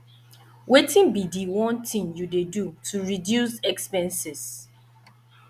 wetin be di one thing you dey do to reduce expenses